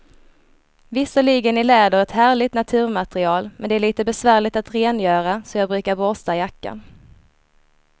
Visserligen är läder ett härligt naturmaterial, men det är lite besvärligt att rengöra, så jag brukar borsta jackan.